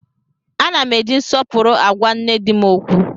Ana m eji nsọpụrụ agwa nne di m okwu